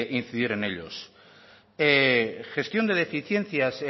incidir en ellos gestión de deficiencias